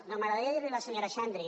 no m’agradaria dir a la senyora xandri